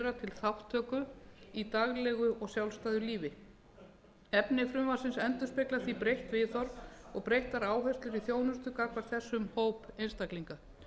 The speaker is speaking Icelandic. þátttöku í daglegu og sjálfstæðu lífi því er um töluverða áherslubreytingu á starfsemi gagnvart þessum hópi einstaklinga að ræða